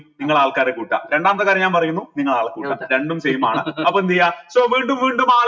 നിങ്ങൾ ആൾക്കാരെ കൂട്ടാം രണ്ടാമത്തെ കാര്യം ഞാൻ പറയുന്നു നിങ്ങൾ ആളെ കൂട്ട രണ്ടും same ആണ് അപ്പൊ എന്തെയ്യ so വീണ്ടും വീണ്ടും